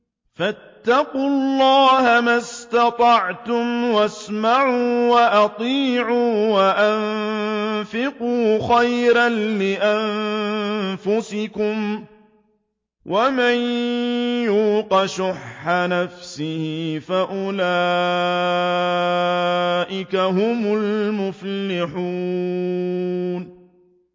فَاتَّقُوا اللَّهَ مَا اسْتَطَعْتُمْ وَاسْمَعُوا وَأَطِيعُوا وَأَنفِقُوا خَيْرًا لِّأَنفُسِكُمْ ۗ وَمَن يُوقَ شُحَّ نَفْسِهِ فَأُولَٰئِكَ هُمُ الْمُفْلِحُونَ